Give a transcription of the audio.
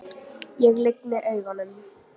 Ég lygni augunum.